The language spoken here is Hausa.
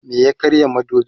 me ya karya madubin?